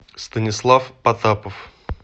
станислав потапов